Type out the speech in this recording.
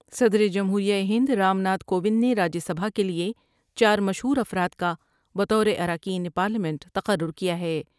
صدر جمہور یہ ہند رام ناتھ کووند نے راجیہ سبھا کے لئے چارمشہورافراد کا بطور اراکین پارلیمنٹ تقر رکیا ہے ۔